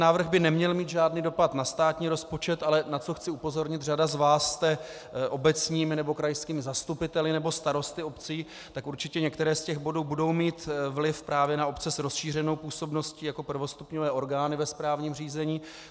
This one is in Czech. Návrh by neměl mít žádný dopad na státní rozpočet, ale na co chci upozornit, řada z vás jste obecními nebo krajskými zastupiteli nebo starosty obcí, tak určitě některé z těch bodů budou mít vliv právě na obce s rozšířenou působností jako prvostupňové orgány ve správním řízení.